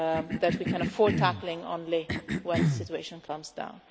that we can afford tackling only when the situation calms down.